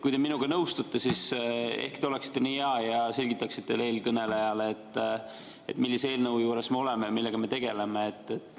Kui te minuga nõustute, siis ehk oleksite nii hea ja selgitaksite eelkõnelejale, millise eelnõu juures me oleme ja millega me tegeleme?